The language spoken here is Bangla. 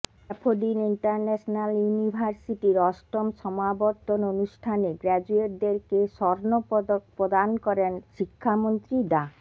ড্যাফোডিল ইন্টারন্যাশনাল ইউনিভার্সিটির অষ্টম সমাবর্তন অনুষ্ঠানে গ্র্যাজুয়েটদেরকে স্বর্ণপদক প্রদান করেন শিক্ষামন্ত্রী ডা